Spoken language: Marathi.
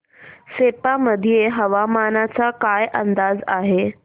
सेप्पा मध्ये हवामानाचा काय अंदाज आहे